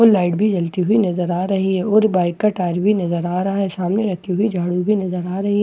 वो लाइट भी जलती हुई नजर आ रही है और बाइक का टायर भी नजर आ रहा है सामने लगती हुई झाड़ू भी नजर आ रही है।